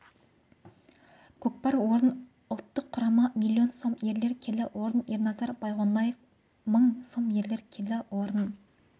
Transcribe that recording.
көкпар орын ұлттық құрама млн сом ерлер келі орын ерназар байғоноев мың сом ерлер келі орын